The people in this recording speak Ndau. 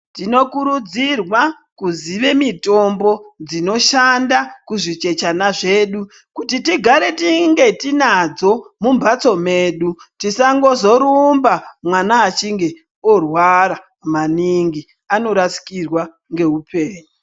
Tinokurudzirwa kuziva mitombo dzinoshanda kuzvichechana zvedu kuti tigare tinge tinadzo mumbatso mwedu tisazongorumba mwana achinge orwara maningi anorasikirwa ngeupengu.